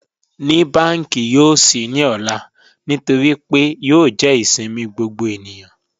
Ní bankí yòó ṣí ní òlà nítorí pé yòó jẹ́ ìṣẹ̀mi gbogbo ènìyàn?